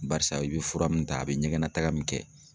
Barisa i bɛ fura min ta a bɛ ɲɛgɛnna taaga min kɛ.